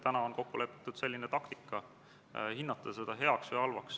Palun võtta seisukoht ja hääletada!